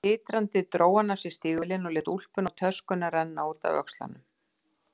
Titrandi dró hann af sér stígvélin og lét úlpuna og töskuna renna út af öxlunum.